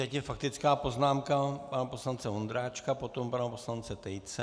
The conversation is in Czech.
Teď je faktická poznámka pana poslance Vondráčka, potom pana poslance Tejce.